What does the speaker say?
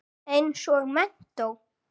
Eins og menntó.